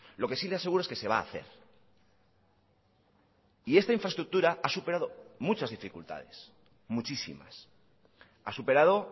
lo que si le aseguro es que se va a hacer y esta infraestructura ha superado muchas dificultades muchísimas ha superado